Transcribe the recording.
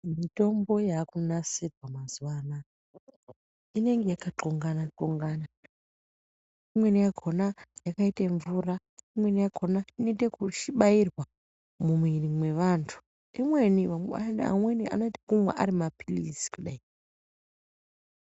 Mitombo yakunasirwa maziva anaya inenge yakatxongana-txongana. Imweni yakona yakaite mvura, imweni yakona inote yekubairwa mumwiri mweantu, imweni vamweni vanoita yekunwa ari maphirizi kudai.